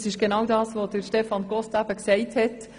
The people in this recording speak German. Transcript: Es ist genau das, was Grossrat Costa gesagt hat: